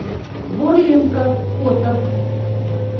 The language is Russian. бурлинка фото